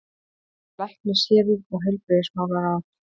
LÆKNISHÉRUÐ OG HEILBRIGÐISMÁLARÁÐ